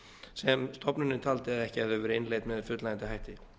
sem stofnunin taldi að ekki hefðu verið innleidd með fullnægjandi hætti